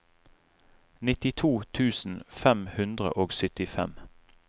nittito tusen fem hundre og syttifem